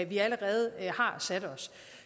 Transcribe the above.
vi allerede har sat os